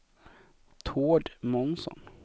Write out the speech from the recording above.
Tord Månsson